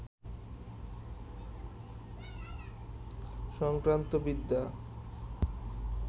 সংক্রান্ত বিদ্যা